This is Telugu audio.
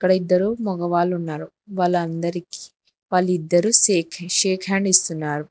అక్కడ ఇద్దరు మగవాళ్ళు ఉన్నారు వాళ్ళందరికీ వాళ్ళిద్దరూ సేక్ షేక్ హ్యాండ్ ఇస్తున్నారు.